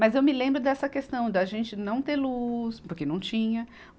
Mas eu me lembro dessa questão da gente não ter luz, porque não tinha.